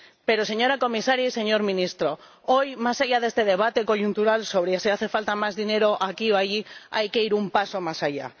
Pero, señora comisaria y señor ministro, hoy, más allá de este debate coyuntural sobre si hace falta más dinero aquí o allí, hay que ir un paso más allá.